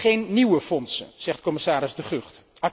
Geen nieuwe fondsen, zegt commissaris De Gucht.